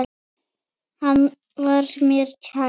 Hann var mér kær.